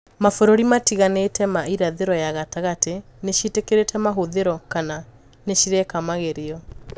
Mabũrũri matiganite ma irathiro ya gatagati niciitikirite mahũthiro kana nicireka magerio.